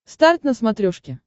старт на смотрешке